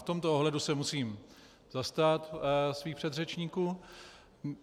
V tomto ohledu se musím zastat svých předřečníků.